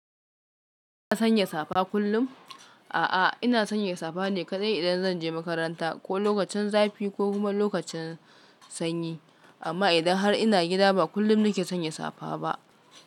Sanya safa kullum? A'a, ina sanya safa ne kadai idan zan je makaranta ko lokacin zafi ko kuma lokacin sanyi. Amma idan har ina gida, ba kullum nake sanya safa ba.